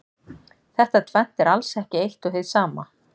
Þetta tvennt er alls ekki eitt og hið sama.